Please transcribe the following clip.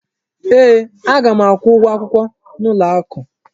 Ee, aga m akwụ ụgwọ akwụkwọ n'ụlọ akụ.